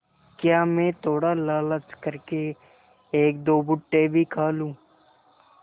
क्या मैं थोड़ा लालच कर के एकदो भुट्टे भी खा लूँ